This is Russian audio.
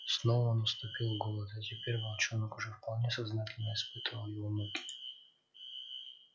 снова наступил голод и теперь волчонок уже вполне сознательно испытывал его муки